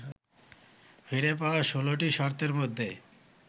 ফিরে পাওয়ার ১৬টি শর্তের মধ্যে